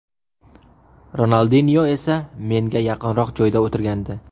Ronaldinyo esa menga yaqinroq joyda o‘tirgandi.